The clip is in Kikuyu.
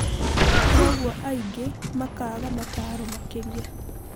Kwoguo aigĩ makaga mataro makĩria.